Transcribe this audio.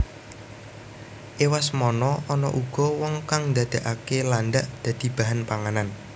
Ewasemono ana uga wong kang ndadeake landhak dadi bahan pangan